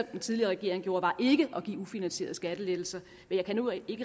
den tidligere regering gjorde var ikke at give ufinansierede skattelettelser men jeg kan nu ikke